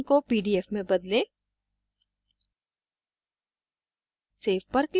file extension को pdf में बदलें